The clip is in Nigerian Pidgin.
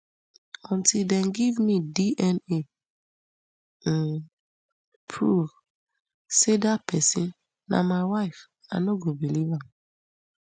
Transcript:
until dem give me dna um proof say dat pesin na my wife i no believe am